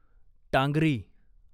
Tangri